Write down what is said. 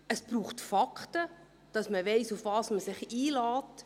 Es braucht Fakten, damit man weiss, worauf man sich einlässt.